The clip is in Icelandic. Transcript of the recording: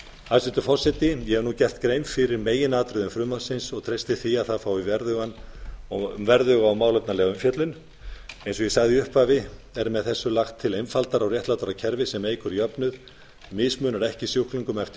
hæstvirtur forseti ég hef nú gert grein fyrir meginatriðum frumvarpsins og treysti því að það fái verðuga og málefnalega umfjöllun eins og ég sagði í upphafi er með þessu lagt til einfaldara og réttlátara kerfi sem eykur jöfnuð mismunar ekki sjúklingum eftir